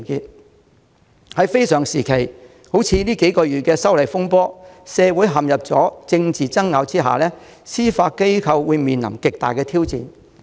在這個非常時期，近數月來發生修例風波，社會陷入政治爭拗，司法機構面臨極大挑戰。